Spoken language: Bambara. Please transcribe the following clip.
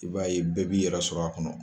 I b'a ye bɛɛ b'i yɛrɛ sɔrɔ a kɔnɔ